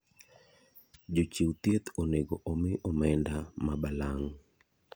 Jochiw thieth onego omi omenda mabalang'.